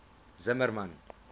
zimmermann